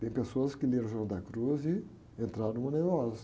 Tem pessoas que leram o Juan da Cruz e entraram no.